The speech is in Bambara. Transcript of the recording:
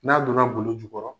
N'a donna golo jukɔrɔ.